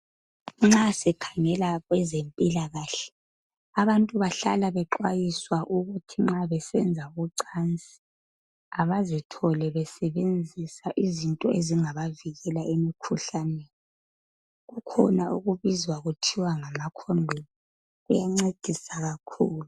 Nxa sikhangela kwezempilakahle abantu bahlala bexwayiswa ukuthi nxa besenza ucansi abazithole besebenzisa izinto ezingabavikela emkhuhlaneni. Kukhona okubizwa kuthiwa ngama khondomu. Kuyancedisa kakhulu.